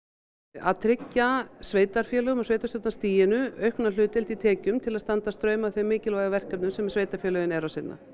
að tryggja sveitarfélögum og sveitarstjórnarstiginu aukna hlutdeild í tekjum til að standa straum af þeim mikilvægu verkefnum sem sveitarfélögin eru að sinna